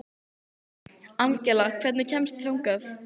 Angela, hvernig kemst ég þangað?